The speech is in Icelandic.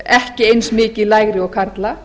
ekki eins mikið lægri og karla